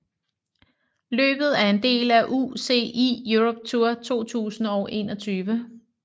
Løbet er en del af UCI Europe Tour 2021